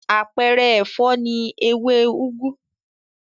Àpẹẹrẹ ẹ̀fọ́ ni ewé úgú.